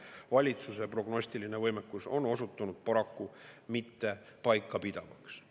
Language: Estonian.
Valitsuse prognostiline võimekus on osutunud paraku mitte paikapidavaks.